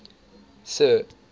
sir